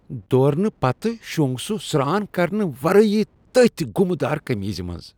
دوٗرنہٕ پتہٕ شوٚنگ سُہ سران کرنہٕ ورٲے تٔتھۍ گُمہ دار قمیضہ منز۔